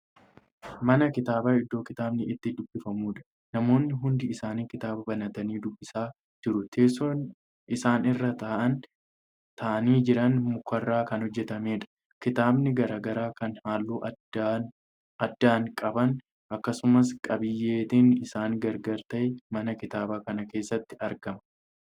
Mana kitaabaa iddoo kitaabni itti dubbifamuudha namoonni hundi isaanii kitaaba banatanii dubbisaa jiru. teessoon isaan irra taa'anii Jiran mukarraa Kan hojjatameedha. kitaabbilee garagaraa Kan halluu addaan. addaa qaban akkasumas qabiyteen isaanii gargara ta'e mana kitaaba kana keessatti argama.